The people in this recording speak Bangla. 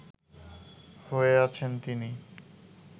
হয়ে আছেন তিনি